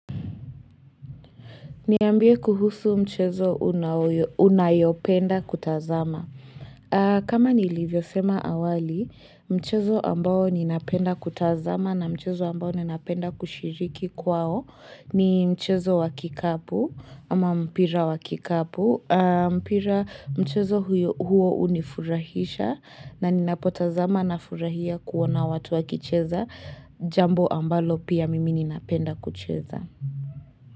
Niambie kuhusu mchezo unayopenda kutazama. Kama nilivyosema awali, mchezo ambao ninapenda kutazama na mchezo ambao ninapenda kushiriki kwao ni mchezo wa kikapu ama mpira wa kikapu. Mpira mchezo huo hunifurahisha na ninapotazama nafurahia kuona watu wakicheza jambo ambalo pia mimi ninapenda kucheza.